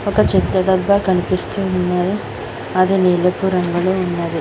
ఒక చెక్క డబ్బా కనిపిస్తున్నది అది నిలపు రంగులో ఉన్నాది.